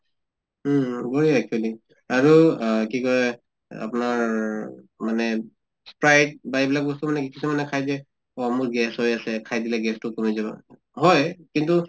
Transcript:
উম um actually আৰু আহ কি কয় আপনাৰ মানে sprite বা এইবিলাক বস্তু মানে কি কিছুমানে খায় যে অ মোৰ gas হৈ আছে, খাই দিলে gas তো কমি যাব। হয়, কিন্তু